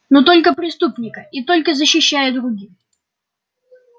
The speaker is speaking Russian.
но только преступника и только защищая других